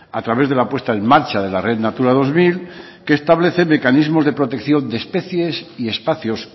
a través de la apuesta en marcha de la red natura dos mil que establece mecanismos de protección de especies y espacios